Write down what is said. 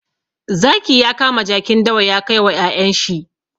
Zaki ya kama jakin dawa ya kai wa ƴaƴen shi.